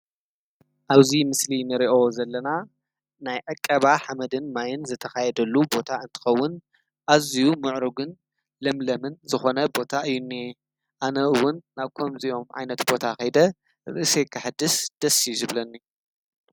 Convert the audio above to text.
ኣብዙይ ምስሊ ነርእኦ ዘለና ናይ ዕቀባ ሓመድን ማይን ዘተኻየደሉ ቦታ እንትኸውን ኣዝዩ ምዕሩግን ለምለምን ዝኾነ ቦታ እዩኒየ ኣነኡውን ናብኮም ዚዮም ዓይነት ቦታ ኸይደ ርእሴ ክሕድስ ደሢዩ ዝብለኒ